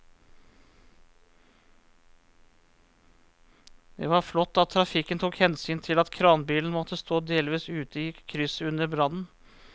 Det var flott at trafikken tok hensyn til at kranbilen måtte stå delvis ute i krysset under brannen.